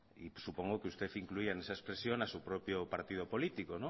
y supongo que usted incluía en esa expresión a su propio partido político